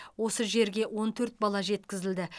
осы жерге он төрт бала жеткізілді